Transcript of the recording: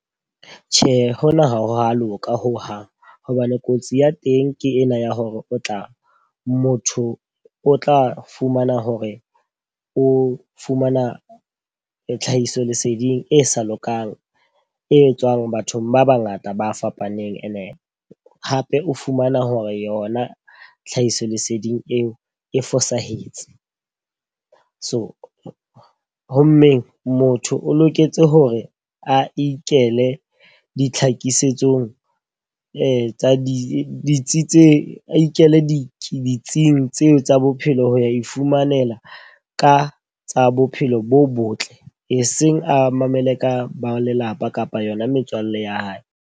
Tjhe, hona ha ho a loka hohang. Hobane kotsi ya teng ke ena ya hore o tla motho o tla fumana hore o fumana tlhahiso leseding e sa lokang, e etswang bathong ba ba ngata ba fapaneng. E ne hape o fumana hore yona tlhahiso leseding eo e fosahetse. So ho mmeng, motho o loketse hore a ikele ditlhakisetsong etsa di ditsi tse ikele ditsing tseo tsa bophelo ho ya ifumanela ka tsa bophelo bo botle. E seng a mamele ka ba lelapa kapa yona metswalle ya hae.